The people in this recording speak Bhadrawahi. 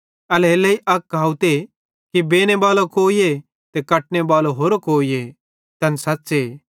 एल्हेरेलेइ अक कहावते कि बेनेबालो कोईए ते कटने बलो होरो कोईए तैन सच़्च़े